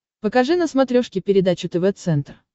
покажи на смотрешке передачу тв центр